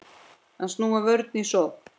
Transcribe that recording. Að snúa vörn í sókn.